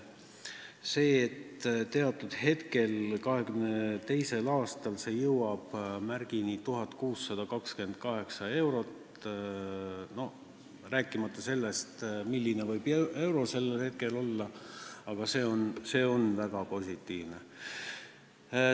See, et 2022. aastal jõuab see 1628 euroni – me ei räägi sellest, milline võib euro väärtus sellel hetkel olla –, on väga positiivne.